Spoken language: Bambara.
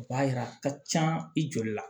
O b'a yira a ka can i joli la